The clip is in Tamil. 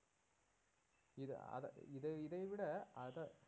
இது அத இதை இதைவிட அத